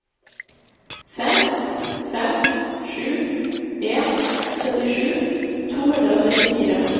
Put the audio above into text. fem fem sju en syttisju to hundre og trettifire